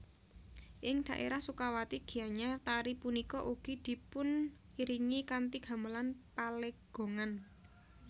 Ing daerah Sukawati Gianyar tari punika ugi dipuniringi kanthi Gamelan Palegongan